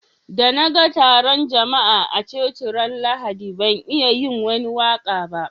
Da na gan tarun jama'a a coci ran Lahadi ban iya yin wani waka ba.